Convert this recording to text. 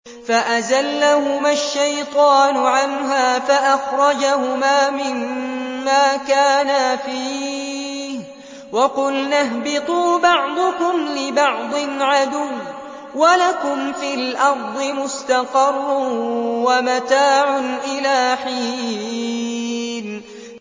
فَأَزَلَّهُمَا الشَّيْطَانُ عَنْهَا فَأَخْرَجَهُمَا مِمَّا كَانَا فِيهِ ۖ وَقُلْنَا اهْبِطُوا بَعْضُكُمْ لِبَعْضٍ عَدُوٌّ ۖ وَلَكُمْ فِي الْأَرْضِ مُسْتَقَرٌّ وَمَتَاعٌ إِلَىٰ حِينٍ